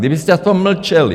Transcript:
Kdybyste aspoň mlčeli!